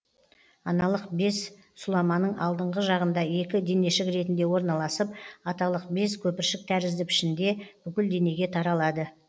аналық без сұламаның алдыңғы жағында екі денешік ретінде орналасып аталық без көпіршік тәрізді пішінде бүкіл денеге таралады